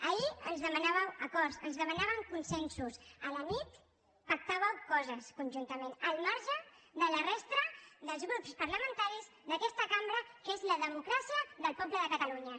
ahir ens demanàveu acords es demanaven consensos a la nit pactàveu coses conjuntament al marge de la resta dels grups parlamentaris d’aquesta cambra que és la democràcia del poble de catalunya